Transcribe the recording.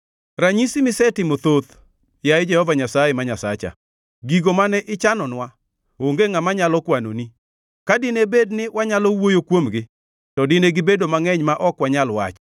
Ranyisi misetimo thoth, yaye Jehova Nyasaye ma Nyasacha. Gigo mane ichanonwa onge ngʼama nyalo kwanoni; ka dine bed ni wanyalo wuoyo kuomgi; to dine gibedo mangʼeny ma ok wanyal wacho.